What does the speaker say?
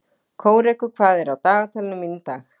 Kórekur, hvað er á dagatalinu mínu í dag?